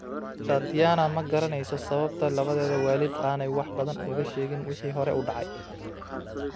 Tatiana ma garanayso sababta labadeeda waalid aanay wax badan ugu sheegin wixii hore u dhacay.